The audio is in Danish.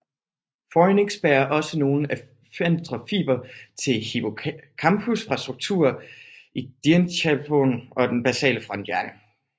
Fornix bærer også nogle afferente fibre til hippocampus fra strukturer i diencephalon og den basale fronthjerne